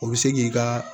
O bɛ se k'i ka